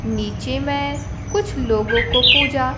नीचे में कुछ लोगों को पूजा--